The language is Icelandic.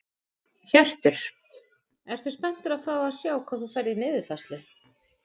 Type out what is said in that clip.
Hjörtur: Ertu spenntur að fá að sjá hvað þú færð í niðurfærslu?